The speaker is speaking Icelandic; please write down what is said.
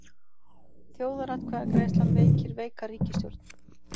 Þjóðaratkvæðagreiðslan veikir veika ríkisstjórn